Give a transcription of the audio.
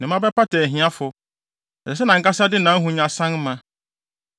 Ne mma bɛpata ahiafo; ɛsɛ sɛ nʼankasa de nʼahonya san ma.